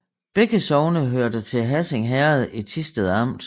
Begge sogne hørte til Hassing Herred i Thisted Amt